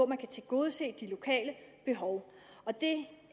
man kan tilgodese de lokale behov det